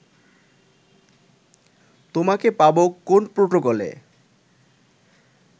তোমাকে পাব কোন প্রটোকলে